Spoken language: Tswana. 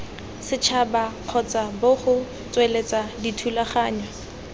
setšhaba kgotsa bgo tsweletsa dithulaganyo